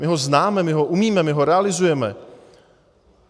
My ho známe, my ho umíme, my ho realizujeme.